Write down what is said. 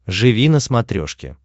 живи на смотрешке